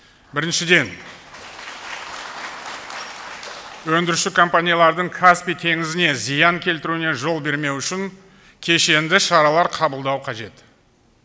біріншіден өндіруші компаниялардың каспий теңізіне зиян келтіруіне жол бермеу үшін кешенді шаралар қабылдау қажет